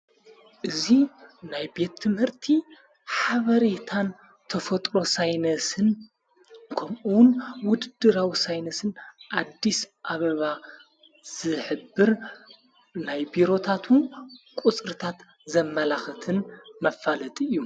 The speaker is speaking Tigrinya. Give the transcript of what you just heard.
እዙ ናይ ቤቲ ትምህርቲ ሓበሬታን ተፈጥሮ ሳይነስን ከምኡውን ውድድራዊ ሳይነስን ኣዲስ ኣበባ ዘኅብር ናይ ቢሮታቱ ቊጽርታት ዘመላኽትን መፋለጥ እዩ፡፡